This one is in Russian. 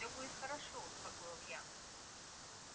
всё будет хорошо успокоил я